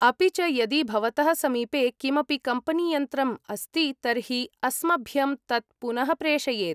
अपि च यदि भवतः समीपे किमपि कम्पनीयन्त्रम् अस्ति तर्हि अस्मभ्यं तत् पुनः प्रेषयेत्।